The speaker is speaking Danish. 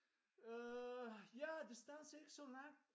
Øh ja distancen er ikke så lang